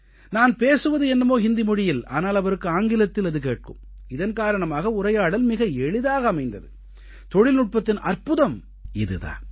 நான் பேசுவது என்னமோ ஹிந்தி மொழியில் ஆனால் அவருக்கு ஆங்கிலத்தில் அது கேட்கும் இதன் காரணமாக உரையாடல் மிகவும் எளிதாக அமைந்தது தொழில்நுட்பத்தின் அற்புதம் இது தான்